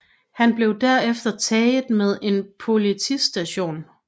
Han blev derefter taget med på en politistation